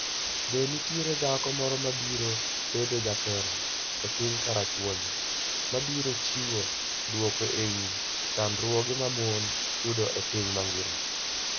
Be nitie dhako moro ma biro bedo jatelo e piny karachuonyo mabiro chiwo dwoko e wi chandruoge ma mon yudo e piny mangima?